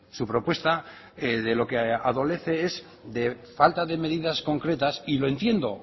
su propuesta de lo que adolece es de falta de medidas concretas y lo entiendo